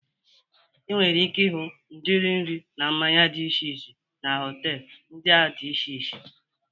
I nwere ike ịhụ udiri nri na mmanya dị iche iche na họtelu ndịa dị iche iche